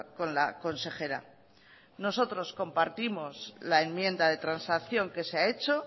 con la consejera nosotros compartimos la enmienda de transacción que se ha hecho